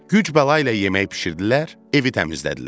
Güc-bəla ilə yemək bişirdilər, evi təmizlədilər.